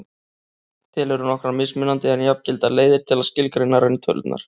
til eru nokkrar mismunandi en jafngildar leiðir til að skilgreina rauntölurnar